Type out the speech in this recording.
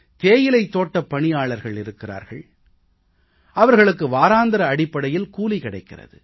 தேயிலைத் தோட்டப் பணியாளர்கள் இருக்கிறார்கள் அவர்களுக்கு வாராந்திர அடிப்படையில் கூலி கிடைக்கிறது